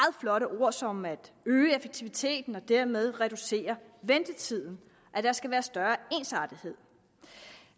flotte ord som at øge effektiviteten og dermed reducere ventetiden der skal være større ensartethed